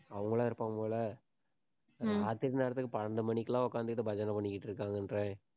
அவங்களா இருப்பாங்க போல. ராத்திரி நேரத்துக்கு பன்னெண்டு மணிக்கெல்லாம் உட்கார்ந்துகிட்டு, பஜனை பண்ணிக்கிட்டு இருக்காங்கன்ற.